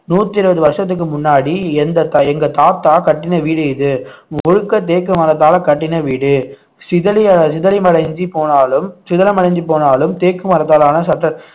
நூத்தி இருபது வருஷத்துக்கு முன்னாடி எந்த தா~ எங்க தாத்தா கட்டின வீடு இது முழுக்க தேக்கு மரத்தால கட்டின வீடு சிதில~ சிதிலமடைந்து போனாலும் சிதலமடைஞ்சு போனாலும் தேக்கு மரத்தாலான